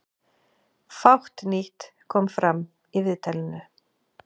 Fátt nýtt kom fram í viðtalinu